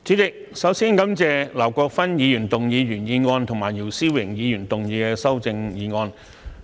主席，首先，我感謝劉國勳議員的原議案和姚思榮議員的修正案。